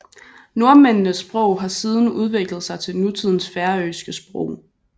Nordmændenes sprog har siden udviklet sig til nutidens færøske sprog